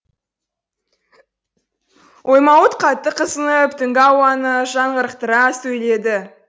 оймауыт қатты қызынып түнгі ауаны жаңғырықтыра сөйледі